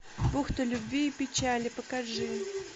бухта любви и печали покажи